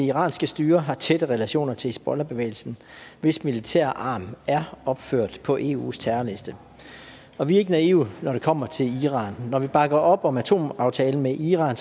iranske styre har tætte relationer til hizbollahbevægelsen hvis militære arm er opført på eus terrorliste og vi er ikke naive når det kommer til iran når vi bakker op om atomaftalen med iran